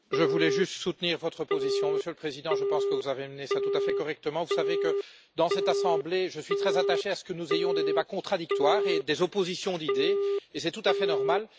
Monsieur le Président, je voulais juste soutenir votre position. Je pense que vous avez mené cela tout à fait correctement. Vous savez que, dans cette Assemblée, je suis très attaché à ce que nous ayons des débats contradictoires et des oppositions d'idées et c'est tout à fait normal.